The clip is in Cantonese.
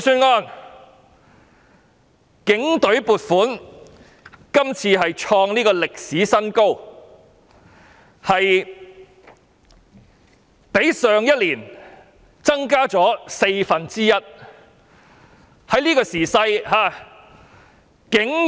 今年警隊的撥款創歷史新高，較去年增加四分之一。